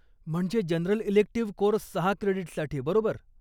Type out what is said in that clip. म्हणजे general elective course सहा क्रेडीट्ससाठी, बरोबर?